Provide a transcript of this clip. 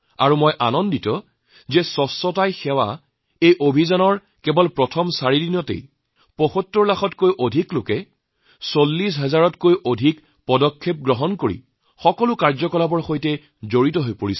মই সুখী যে স্বচ্ছতাই সেৱা অভিযানৰ প্ৰথম চাৰি দিনত ৭৫ লাখতকৈও অধিক লোক ৪০ হাজাৰতকৈ অধিক উদ্যোগ এই কাৰ্যসূচীৰ সৈতে জড়িত হৈছে